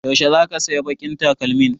Yaushe zaka saya baƙin takalmin?